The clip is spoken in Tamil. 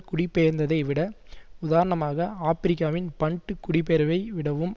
குடிபெயர்ந்ததை விட உதாரணமாக ஆபிரிக்காவின் பன்ட்டு குடிபெயர்வை விடவும்